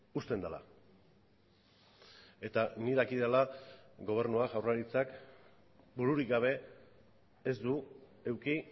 uzten dela eta nik dakidala gobernua jaurlaritzak bururik gabe ez du eduki